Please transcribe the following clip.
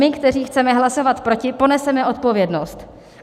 My, kteří chceme hlasovat proti, poneseme odpovědnost.